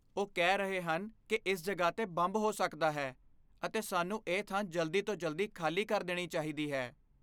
ਉਹ ਕਹਿ ਰਹੇ ਹਨ ਕਿ ਇਸ ਜਗ੍ਹਾ 'ਤੇ ਬੰਬ ਹੋ ਸਕਦਾ ਹੈ ਅਤੇ ਸਾਨੂੰ ਇਹ ਥਾਂ ਜਲਦੀ ਤੋਂ ਜਲਦੀ ਖ਼ਾਲੀ ਕਰ ਦੇਣੀ ਚਾਹੀਦੀ ਹੈ।